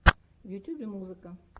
в ютьюбе музыка